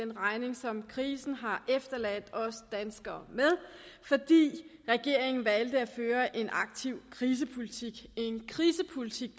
den regning som krisen har efterladt os danskere med fordi regeringen valgte at føre en aktiv krisepolitik en krisepolitik